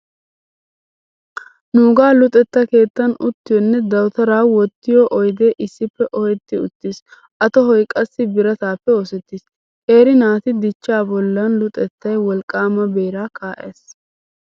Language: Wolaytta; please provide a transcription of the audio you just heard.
Nuugaa luxetta keettan uttiyonne dawutaraa wottiyo oydee issippe ohetti uttiis a tohoy qassi birataappe oosettiis. Qeeri naati dichchaa bollan luxettay wolqqaama beeraa kaa'ees.